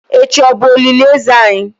echi o bu olili eze anyi?